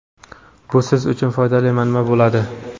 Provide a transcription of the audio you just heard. bu siz uchun foydali manba bo‘ladi.